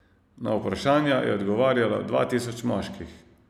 Na vprašanja je odgovarjalo dva tisoč moških.